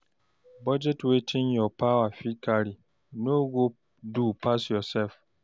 Budget wetin your power fit carry no go do pass yourself